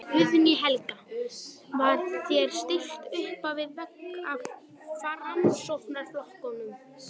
Guðný Helga: Var þér stillt uppvið vegg af Framsóknarflokknum?